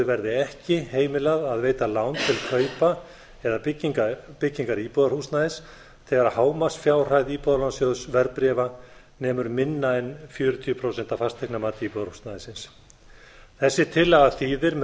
verði ekki heimilað að veita lán til kaupa eða byggingar íbúðarhúsnæðis þegar hámarksfjárhæð íbúðalánasjóðs verðbréfa nemur minna en fjörutíu prósent af fasteignamati íbúðarhúsnæðisins þessi tillaga þýðir með